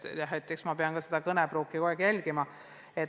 Jah, eks ma pean oma kõnepruuki kogu aeg jälgima.